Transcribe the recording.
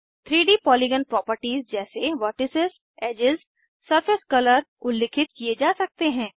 3डी polygon properties जैसे vertices edges edges surface colour उल्लिखित किये जा सकते हैं